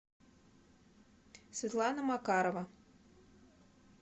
светлана макарова